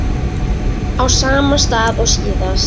Á sama stað og síðast.